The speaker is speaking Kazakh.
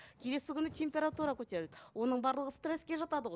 келесі күні температура көтерілді оның барлығы стресске жатады ғой